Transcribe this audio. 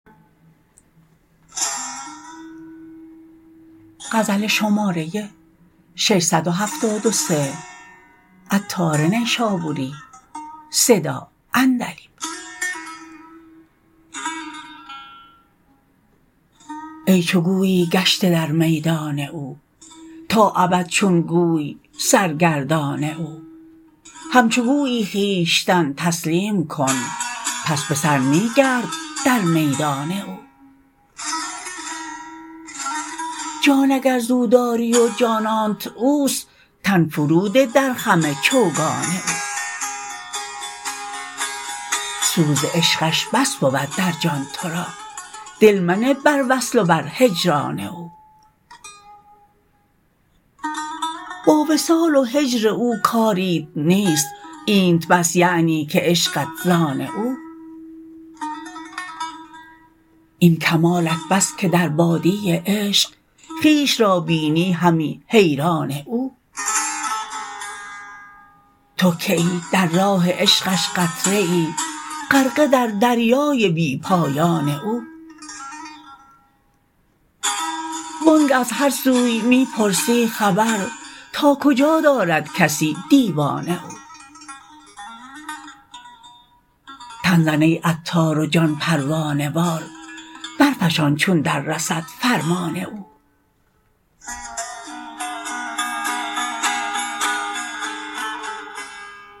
ای چو گویی گشته در میدان او تا ابد چون گوی سرگردان او همچو گویی خویشتن تسلیم کن پس به سر می گرد در میدان او جان اگر زو داری و جانانت اوست تن فرو ده درخم چوگان او سوز عشقش بس بود در جان تو را دل منه بر وصل و بر هجران او با وصال و هجر او کاریت نیست اینت بس یعنی که عشقت زان او این کمالت بس که در وادی عشق خویش را بینی همی حیران او تو که ای در راه عشقش قطره ای غرقه در دریای بی پایان او وانگه از هر سوی می پرسی خبر تا کجا دارد کسی دیوان او تن زن ای عطار و جان پروانه وار برفشان چون در رسد فرمان او